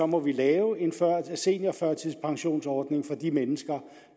må lave en seniorførtidspensionsordning for de mennesker